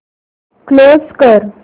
close कर